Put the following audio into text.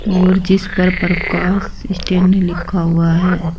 और जिस पर प्रकाश स्टील में लिखा हुआ है।